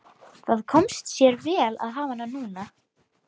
Það kom sér vel að hafa hana núna.